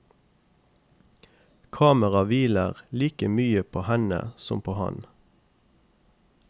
Kamera hviler like mye på henne som på ham.